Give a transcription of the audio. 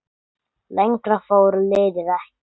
Lengra fór liðið ekki.